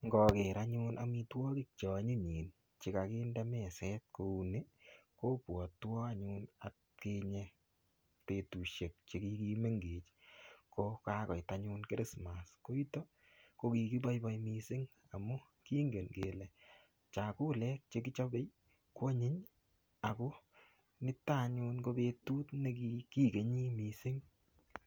Ngoker anyun amitwogik che onyinyen che ko kinde meset kouni kobwotwon atkinye betushek che kigimengech ko kagoit anyun Christmas ko kito, ko kigiboiboi mising amun kingen kele chakula che kichobe ko anyiny ago niton anyun ko betut nekikigeni mising.